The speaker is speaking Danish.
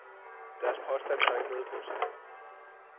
Deres påstande har ikke noget på sig.